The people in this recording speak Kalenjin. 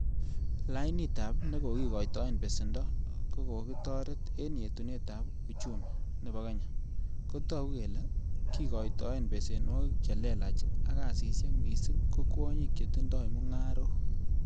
Lainitab nekokoitoe besendo, kokikotoret en yetunet ab uchumi nebo kenya, kotou ele kikoitoen besenwogik che lelach ak kasisiek, missing ko kwonyik chetindoi mungarok